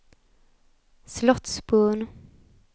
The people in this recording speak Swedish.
Slottsbron